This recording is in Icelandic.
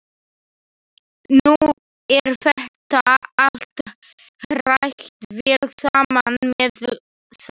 Nú er þetta allt hrært vel saman með sleif.